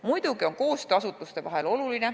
Muidugi on koostöö asutuste vahel oluline.